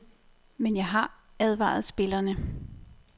Men jeg har advaret spillerne.